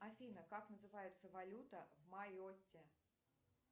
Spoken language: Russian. афина как называется валюта в майотте